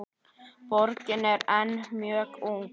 Borgin er enn mjög ung.